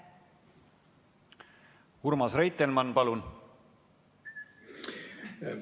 Urmas Reitelmann, palun!